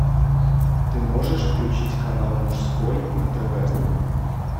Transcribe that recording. ты можешь включить канал мужской на тв